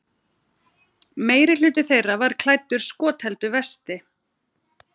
Meirihluti þeirra var klæddur skotheldu vesti